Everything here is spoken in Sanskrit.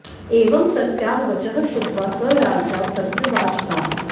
एवं तस्याः वचः श्रुत्वा स राजा प्रत्युवाच ताम्